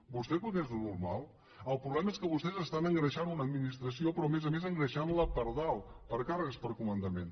vostè creu que és normal el problema és que vostès estan engreixant una administració però a més a més engreixant la per dalt per càrrecs per comandaments